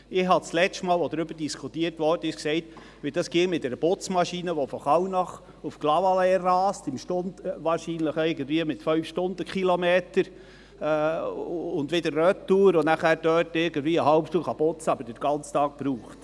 Ich habe das letzte Mal, als darüber diskutiert wurde, gesagt, wie es mit einer Putzmaschine ginge, die von Kallnach nach Clavaleyres rast und wieder zurück, wahrscheinlich etwa mit 5 Stundenkilometern, und dann dort vielleicht eine halbe Stunde putzen kann, aber den ganzen Tag dafür braucht.